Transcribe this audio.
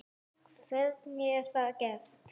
Hvernig er það gert?